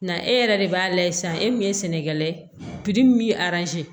Na e yɛrɛ de b'a layɛ sisan e min ye sɛnɛkɛla ye min ye